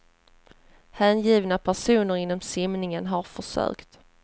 Hängivna personer inom simningen har försökt.